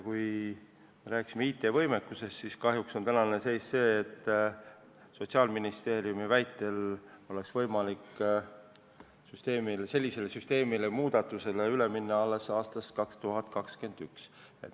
Kui me rääkisime IT-võimekusest, siis selgus, et kahjuks on tänane seis see, et Sotsiaalministeeriumi väitel oleks võimalik sellisele süsteemile või muudatusele üle minna alles aastal 2021.